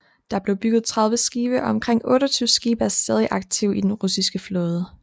Der blev bygget tredive skibe og omkring 28 skibe er stadig aktive i den russiske flåde